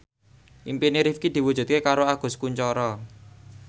impine Rifqi diwujudke karo Agus Kuncoro